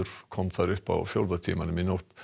kom þar upp á fjórða tímanum í nótt